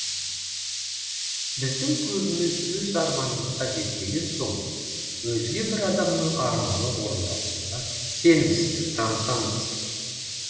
біздің көбіміз өз арманымызға жетпеген соң өзге бір адамның арманы орындалуына сенімсіздік танытамыз